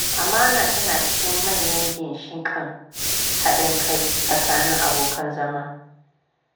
Amana tana cikin manyan ginshiƙan haɗin kai tsakanin abokan zama.